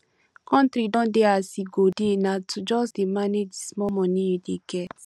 country don dey as e go dey na to just dey manage the small money you dey get